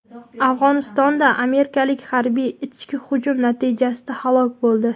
Afg‘onistonda amerikalik harbiy "ichki hujum" natijasida halok bo‘ldi.